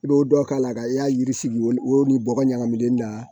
I b'o dɔ k'a la ka y'a yiri sigi o ni bɔgɔ ɲagaminen na